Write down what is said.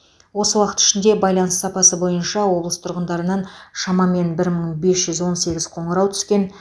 осы уақыт ішінде байланыс сапасы бойынша облыс тұрғындарынан шамамен бір мың бес жүз он сегіз қоңырау түскен